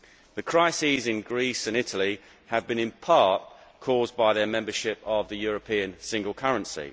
The crises in Greece and Italy have been in part caused by their membership of the European single currency.